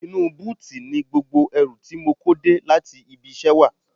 Inú búùtì ni gbogbo ẹrù tí mo kó dé láti ibi iṣẹ́ wà